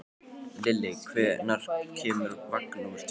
Lilli, hvenær kemur vagn númer tvö?